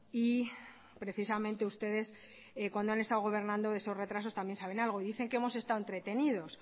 y precisamente ustedes cuando han estado gobernando de esos retrasos también saben algo y dice que hemos estado entretenidos